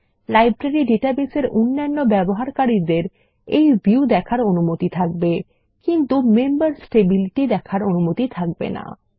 library database এর অন্যান্য ব্যবহারকারীদের এই ভিউ দেখার অনুমতি থাকবে কিন্তু মেম্বারস টেবিল টি দেখার অনুমতি থাকবে না